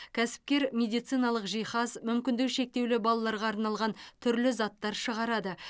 кәсіпкер медициналық жиһаз мүмкіндігі шектеулі балаларға арналған түрлі заттар шығарады